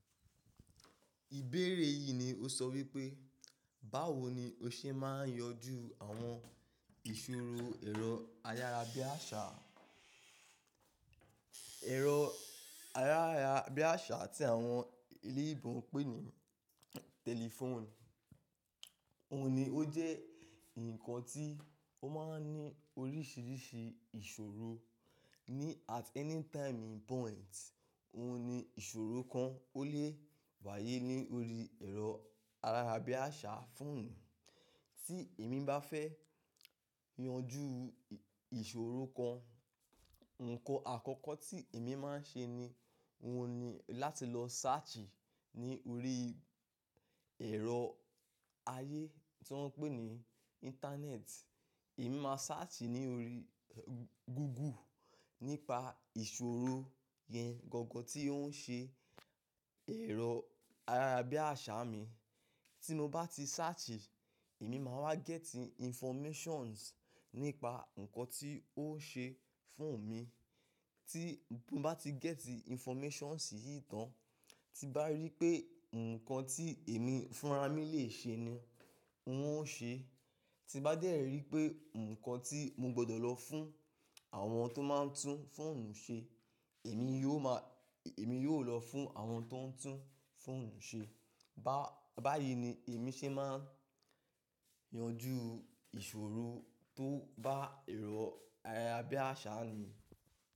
Ìbéèrè yìí ni ó sọ wípé, báwo ni o ṣe máa ń yanjú àwọn ìṣòro ẹ̀rọ ayára bí àṣá, ẹ̀rọ ayárabíàṣá tí àwọn oloyinbo n pè ní telephone Óhun ní ó jẹ́ nǹkan tí ó máa ń ní oríṣiríṣi ìṣòro. Ni at any time in point, òhun ni ìṣòro kan ó lè wáyé lórí ẹ̀rọ ayárabíàṣá phone. Tí èmi bá fẹ́ yanjú ìṣòro kan, nǹkan àkọ́kọ́ tí èmi máa ń ṣe ni, òhun ni láti lọ search ní orí ẹ̀rọ ayé tí wọ́n pè ní internet. Èmi máa search ní orí Google nípa ìṣòro yẹn gangan tí ó ń ṣe ẹ̀rọ ayára bí àṣá mi. Tí mo bá ti search, èmi máa wá gẹ́tì informations nípa nǹkan tí ó ṣe fún mi. Tí mo bá ti gẹ́tì informations yìí tán, tí n bá rí pé nǹkan tí èmi fúnra mí lè ṣe ni, n ó ṣe é. Tí n bá dẹ́ ẹ rí pé nǹkan tí mo gbọdọ̀ lọ fún àwọn tó máa ń tún phone ṣe, èmi yóò máa, èmi yóò lọ fún àwọn tó ń tún phone ṣe. Bá, báyìí ni èmi ṣe máa ń yanjú ìṣòro tó bá ẹ̀rọ ayárabíàṣá mi.